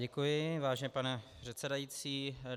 Děkuji, vážený pane předsedající.